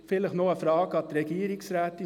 Eine Frage noch an die Regierungsrätin: